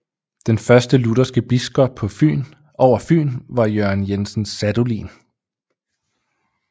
Den første lutherske biskop over Fyn var Jørgen Jensen Sadolin